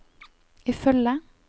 ifølge